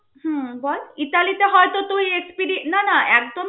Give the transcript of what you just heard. হুম বল ইতালিতে হয়ত তুই experi~ না না একদম